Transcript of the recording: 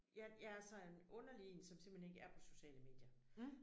Jeg jeg er sådan en underlig én som simpelthen ikke er på sociale medier